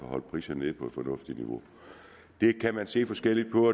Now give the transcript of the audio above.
holde priserne nede på et fornuftigt niveau det kan man se forskelligt på